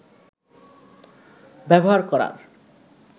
ব্যবহার করার